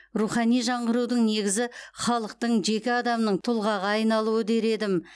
рухани жаңғырудың негізі халықтың жеке адамның тұлғаға айналуы дер едім